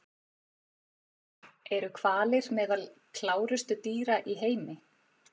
Eru hvalir meðal klárustu dýra í heimi?